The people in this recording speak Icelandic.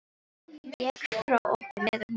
Vék frá okkur meðan hún klæddist.